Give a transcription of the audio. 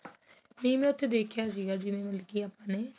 ਨਹੀ ਮੈ ਉਥੇ ਦੇਖਿਆ ਸੀ ਜਿਵੇਂ ਮਤਲਬ ਆਪਣੇਂ